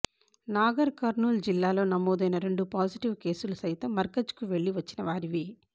నాగర్కర్నూల్ జిల్లాలో నమోదైన రెండు పాజిటివ్ కేసులు సైతం మర్కజ్కు వెళ్లి వచ్చిన వారివే